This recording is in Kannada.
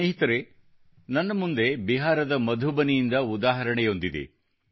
ಸ್ನೇಹಿತರೇ ನನ್ನ ಮುಂದೆ ಬಿಹಾರದ ಮಧುಬನಿಯಿಂದ ಉದಾಹರಣೆಯೊಂದಿದೆ